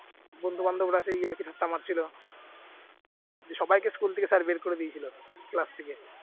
বন্ধু-বান্ধবরা সেই ইয়ার্কি ঠাট্টা মারছিল দিয়ে সবাইকে school থেকে sir বের করে দিয়েছিল class থেকে